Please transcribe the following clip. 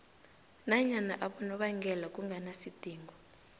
nanyana abonobangela kunganasidingo